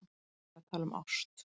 Ég er að tala um ást.